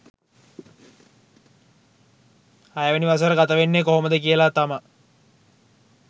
හයවෙනි වසර ගත වෙන්නේ කොහොමද කියලා තමා